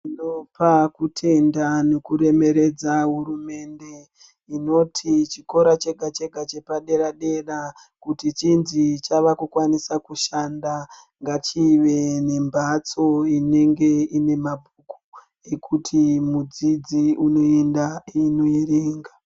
Ndopa kutenda neku remeredza hurumende inoti chikora chega chega chepa dera dera kuti chinzi chava ku kwanisa kushanda ngachive ne mbatso inenge ine mabhuku ekuti mudzidzi unoenda eino erenga.